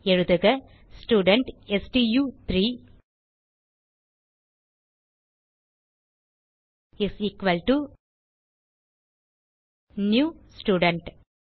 எழுதுக ஸ்டூடென்ட் ஸ்டு3 is equal to new student